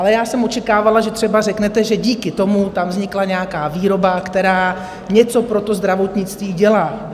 Ale já jsem očekávala, že třeba řeknete, že díky tomu tam vznikla nějaká výroba, která něco pro to zdravotnictví dělá.